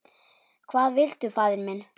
Hvað viltu faðir minn?